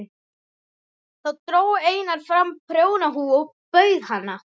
Þá dró Einar fram prjónahúfu og bauð hana.